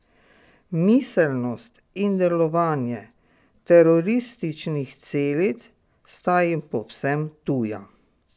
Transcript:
Miselnost in delovanje terorističnih celic sta jim povsem tuja.